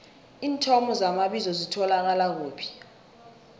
iinthomo zamabizo zitholakala kuphi